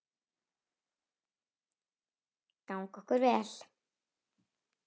Gangi okkur vel.